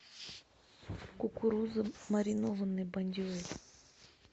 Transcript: кукуруза маринованный бондюэль